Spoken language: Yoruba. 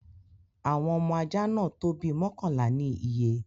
Awọn ọmọ ajá náà tó bí mọkanla ni iyé́